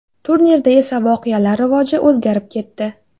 Turnirda esa voqealar rivoji o‘zgarib ketdi.